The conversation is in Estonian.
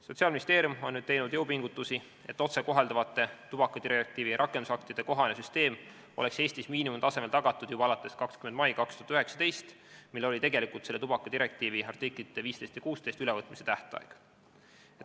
Sotsiaalministeerium on teinud jõupingutusi, et otsekohalduvate tubakadirektiivi rakendusaktide kohane süsteem oleks Eestis miinimumtasemel tagatud juba alates 20. maist 2019, mil oli tegelikult tubakadirektiivi artiklite 15 ja 16 ülevõtmise tähtaeg.